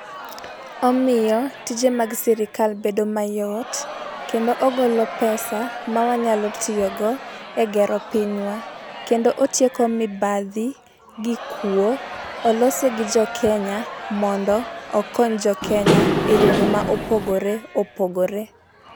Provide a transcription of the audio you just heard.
Omiyo tije mag sirkal bedo mayot, kendo ogolo pesa ma wanyalo tiyo go egero pinywa kendo otieko mibadhi gi kuo olose gi jokenya mondo okony jokenya eyore mapogore opogore